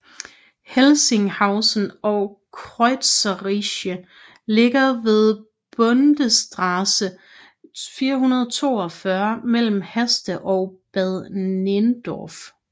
Helsinghausen og Kreuzriehe ligger ved Bundesstraße 442 mellem Haste og Bad Nenndorf